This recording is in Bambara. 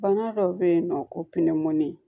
Bana dɔ bɛ yen nɔ ko pinemɔni